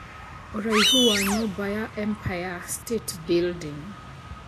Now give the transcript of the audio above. ũraĩhu wa nyũmba ya empire state building